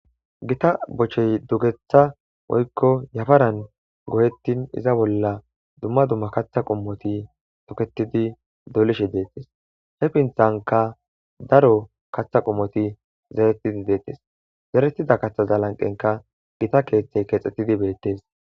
gita bochey dugetha oykko yafaran goyettin iza bolla dumma dumma katha qumoti toketidi dolishe deettes he pinthanka daro katha qumoti zeretidi deettes zeretida katha zalanqenka gita keeththey keexxettidi beettes